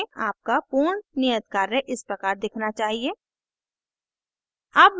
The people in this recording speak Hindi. आपका पूर्ण नियत कार्य इस प्रकार दिखना चाहिए